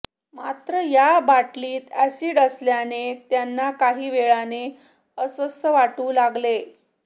मात्र या बाटलीत एसिड असल्याने त्यांना काही वेळाने अस्वस्थ वाटू लागले